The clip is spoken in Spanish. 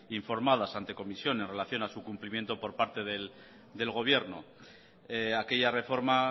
informadas ante comisión relación a su cumplimiento por parte del gobierno aquella reforma